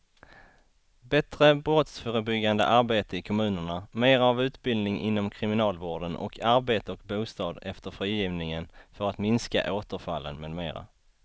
Bättre brottsförebyggande arbete i kommunerna, mera av utbildning inom kriminalvården och arbete och bostad efter frigivningen för att minska återfallen med mera.